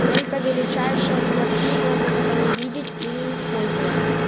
только величайшие дураки могут это не видеть и не использовать